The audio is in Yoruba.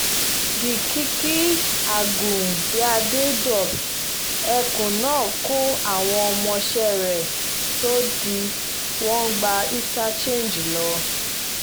gkiki àgùnbíàdé dọ̀p ẹkùn náà kó àwọn ọmọọṣẹ́ rẹ̀ sòdí wọ́n gba inter change lọ